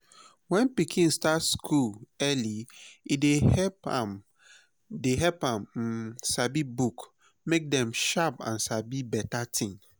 when pikin start school early e dey help am dey help am um sabi book make dem sharp and sabi beta tin.